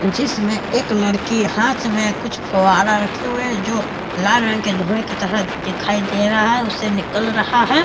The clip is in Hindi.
जिसमें एक लड़की हाथ में कुछ फुवारा रखे हुए हैं जो लाल रंग के धुएं की तरह दिखाई दे रहा है उससे निकल रहा है।